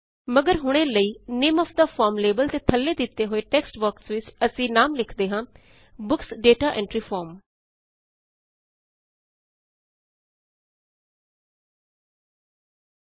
ਮਗਰ ਹੁਣੇ ਲਈ name of the form label ਦੇ ਥੱਲੇ ਦਿੱਤੇ ਹੋਏ ਟੇਕਸਟ ਬੌਕਸ ਵਿਚ ਅਸੀ ਨਾਮ ਲਿਖਦੇ ਹਾਂ ਬੁੱਕਸ ਦਾਤਾ ਐਂਟਰੀ Form